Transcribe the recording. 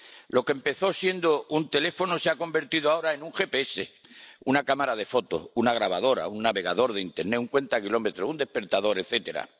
Lo que empezó siendo un teléfono se ha convertido ahora en un GPS, una cámara de fotos, una grabadora, un navegador de internet, un cuentakilómetros, un despertador, etcétera